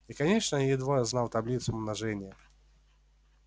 и конечно едва знал таблицу умножения